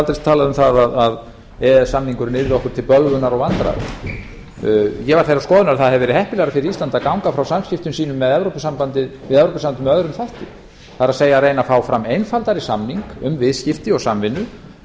aldrei talað um það að e e s samningurinn yrði okkur til bölvunar og vandræða ég var þeirrar skoðunar að það hefði verið heppilegra fyrir ísland að ganga frá samskiptum sínum við evrópusambandið með öðrum hætti það er reyna að fá að einfaldari samning um viðskipti og samvinnu